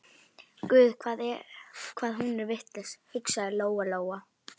Guð hvað hún er vitlaus, hugsaði Lóa Lóa.